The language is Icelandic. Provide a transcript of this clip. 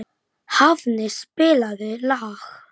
Óla, hvað er á innkaupalistanum mínum?